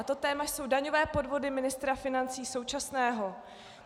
A to téma jsou daňové podvody ministra financí současného.